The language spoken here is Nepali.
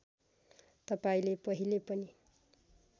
तपाईँले पहिले पनि